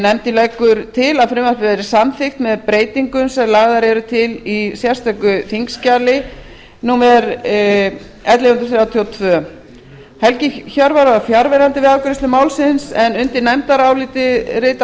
nefndin leggur til að frumvarpið verði samþykkt með breytingum sem lagðar eru til í sérstöku þingskjali númer ellefu hundruð þrjátíu og tvö helgi hjörvar var fjarverandi við afgreiðslu málsins undir nefndarálitið rita